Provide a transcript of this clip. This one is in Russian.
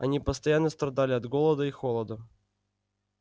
они постоянно страдали от голода и холода